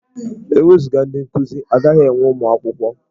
E wezuga ndị nkuzi, a gaghị enwe ụmụ akwụkwọ.